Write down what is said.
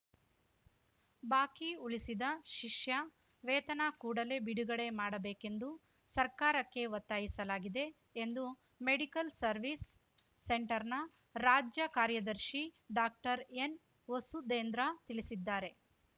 ಬಾಕಿ ಉಳಿಸಿದ ಶಿಷ್ಯ ವೇತನ ಕೂಡಲೇ ಬಿಡುಗಡೆ ಮಾಡಬೇಕೆಂದು ಸರ್ಕಾರಕ್ಕೆ ಒತ್ತಾಯಿಸಲಾಗಿದೆ ಎಂದು ಮೆಡಿಕಲ್‌ ಸರ್ವಿಸ್‌ ಸೆಂಟರ್‌ನ ರಾಜ್ಯ ಕಾರ್ಯದರ್ಶಿ ಡಾಕ್ಟರ್ಎನ್‌ವಸುದೇಂದ್ರ ತಿಳಿಸಿದ್ದಾರೆ